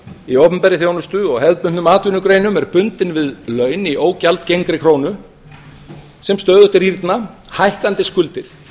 í opinberri þjónustu og hefðbundnum atvinnugreinum er bundin við laun í ógjaldgengri krónu sem stöðugt rýrna hækkandi skuldir